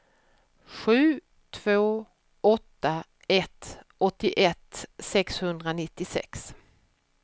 sju två åtta ett åttioett sexhundranittiosex